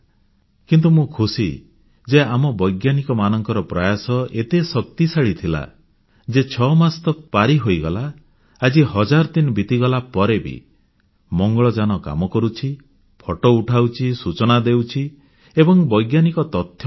କିନ୍ତୁ ମୁଁ ଖୁସି ଯେ ଆମ ବୈଜ୍ଞାନିକମାନଙ୍କ ପ୍ରୟାସ ଏତେ ଶକ୍ତିଶାଳୀ ଥିଲା ଯେ 6 ମାସ ତ ପାରିହୋଇଗଲା ଆଜି ହଜାର ଦିନ ବିତିଗଲା ପରେ ବି ମଙ୍ଗଳଯାନ କାମ କରୁଛି ଫଟୋ ପଠାଉଛି ସୂଚନା ଦେଉଛି ଏବଂ ବୈଜ୍ଞାନିକ ତଥ୍ୟ ଆସୁଛି